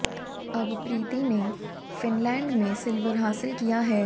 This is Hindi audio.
अब प्रीति ने फिनलैंड में सिल्वर हासिल किया है